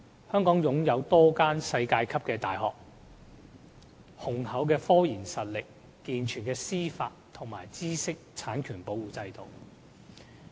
香港擁有多間世界級的大學、雄厚的科研實力、健全的司法和知識產權保護制度等。